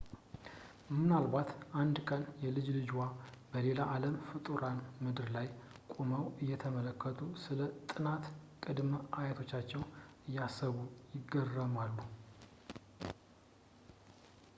ምናልባት አንድ ቀን የልጅ ልጆችዎ በሌላ አለም ፍጡራን ምድር ላይ ቆመው እየተመለከቱ ስለ ጥንት ቅድመ-አያቶቻቸው እያሰቡ ይገረማሉ